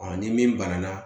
ni min banana